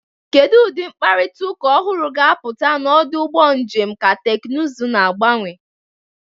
Kedu ụdị mkparịta ụka ọhụrụ ga-apụta na ọdụ ụgbọ njem ka teknụzụ na-agbanwe?